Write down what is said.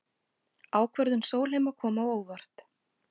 Ákvörðun Sólheima kom á óvart